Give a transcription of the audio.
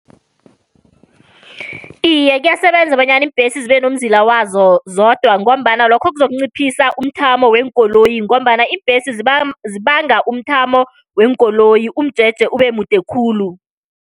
Iye, kuyasebenza bonyana iimbhesi zibe nomzila wazo zodwa, ngombana lokho kuzokunciphisa umthamo weenkoloyi, ngombana iimbhesi zibanga umthamo weenkoloyi umjeje ubemude khulu.